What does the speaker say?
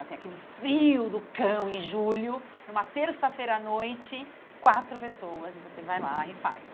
Assim, aquele frio do cão em julho, numa terça-feira à noite, quatro pessoas e você vai lá e faz.